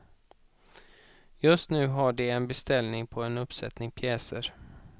Just nu har de en beställning på en uppsättning pjäser.